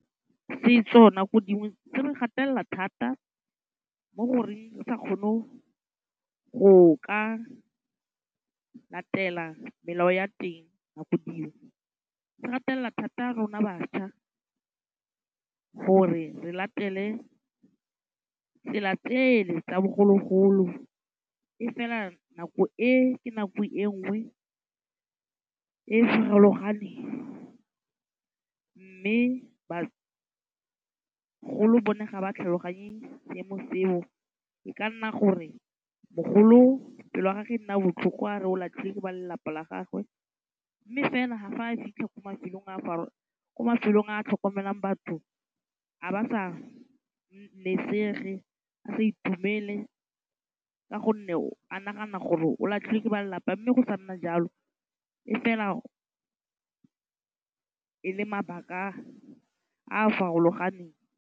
Setso nako dingwe se re gatella thata mo goreng re sa kgone go ka latela melao ya teng ya nako dingwe. Se gatella thata rona bašwa gore re latele tsela tsele tsa bogologolo. E fela nako e ka nako e nngwe e farologaneng. Mme bagolo bone ga ba tlhaloganye seemo seo. E ka nna gore mogolo pelo ya gage e nna botlhoko a re o latlhilwe ke ba lelapa la gagwe. Mme fela fa a fitlha ko mafelong a tlhokomelang batho, a ba sa nesege, a sa itumele ka gonne a nagana gore o latlhilwe ke ba lelapa mme go sa nna jalo. E fela e le mabaka a a farologaneng.